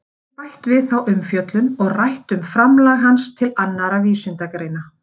Hér verður bætt við þá umfjöllun og rætt um framlag hans til annarra vísindagreina.